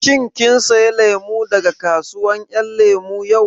Shin kin saya lemu daga kasuwar ƴan lemu yau?